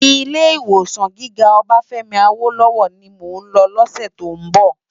Ilé Iwé gigá Obafemi Awolowo ni mó n lò lòsè tó n bò